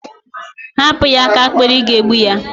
Hapụ ya aka n'akpiri, ị ga-egbu ya!